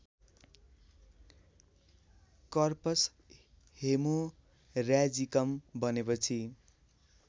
corpus haemorrhagicum बनेपछि